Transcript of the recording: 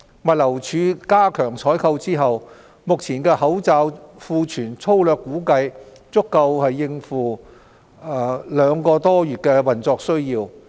物流署加強採購之後，目前的口罩庫存粗略估計足夠政府各部門約兩個多月的運作需要。